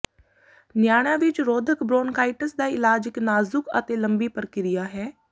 ਨਿਆਣਿਆਂ ਵਿੱਚ ਰੋਧਕ ਬ੍ਰੌਨਕਾਈਟਿਸ ਦਾ ਇਲਾਜ ਇੱਕ ਨਾਜ਼ੁਕ ਅਤੇ ਲੰਬੀ ਪ੍ਰਕਿਰਿਆ ਹੈ